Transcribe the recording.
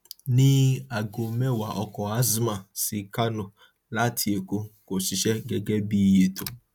ní ago mẹwa ọkọ azman sí kánò láti èkó kò ṣiṣẹ gẹgẹ bí ètò